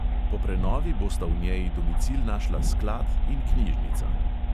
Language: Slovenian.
Po prenovi bosta v njej domicil našla sklad in knjižnica.